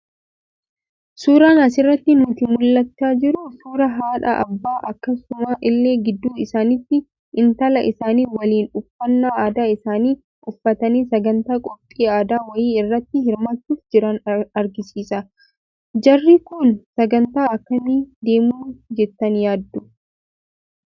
Suuraan asirraa nutti mul'achaa jiru, suuraa haadha, abbaa akkasuma illee gidduu isaanitti intala isaanii waliin uffannaa aadaa isaanii uffatanii sagantaa qophii addaa wayii irratti hirmaachuuf jiran argisiisa. Jarri Kun sagantaa akkamii deemu jettanii yaaddu?